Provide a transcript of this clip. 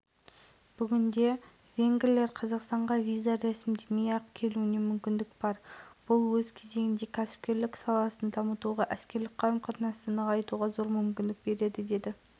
аграрлық салаға бейім оңтүстік қазақстан облысы венгриялық инвесторлардың қызығушылығын тудырып отыр аймақ басшысы елшілік өкілдеріне осы